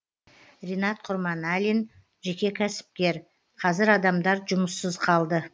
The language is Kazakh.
ринат құрманәлин жеке кәсіпкер қазір адамдар жұмыссыз қалды